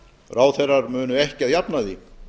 ráðherrar munu ekki að jafnaði